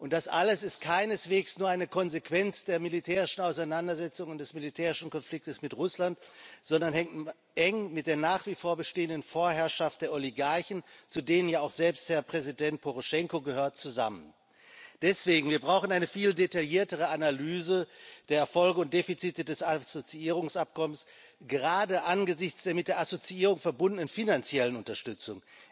Das alles ist keineswegs nur eine Konsequenz der militärischen Auseinandersetzungen und des militärischen Konflikts mit Russland, sondern hängt eng mit der nach wie vor bestehenden Vorherrschaft der Oligarchen zu denen ja auch selbst Herr Präsident Poroschenko gehört zusammen. Deswegen Wir brauchen eine viel detailliertere Analyse der Erfolge und Defizite des Assoziierungsabkommens, gerade angesichts der mit der Assoziierung verbundenen finanziellen Unterstützung.